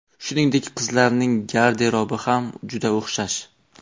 Shuningdek, qizlarning garderobi ham juda o‘xshash.